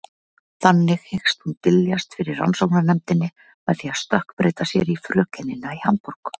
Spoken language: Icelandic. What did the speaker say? Þannig hyggst hún dyljast fyrir rannsóknarnefndinni með því að stökkbreyta sér í frökenina í Hamborg.